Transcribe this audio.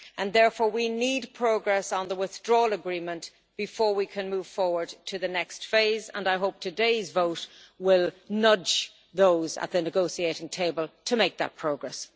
Therefore, we need progress on the withdrawal agreement before we can move forward to the next phase and I hope today's vote will nudge those at the negotiating table to make that progress.